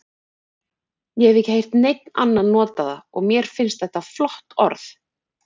Ég hef ekki heyrt neinn annan nota það og mér finnst þetta flott orð.